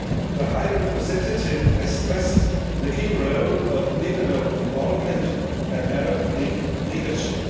The High Representative has stressed the key role of regional involvement and Arab League leadership.